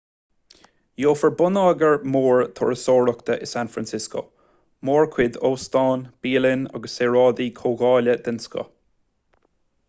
gheofar bonneagar mór turasóireachta in san francisco - mórchuid óstán bialann agus saoráidí comhdhála den scoth